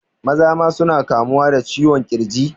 Maza ma suna kamuwa da ciwon ƙirji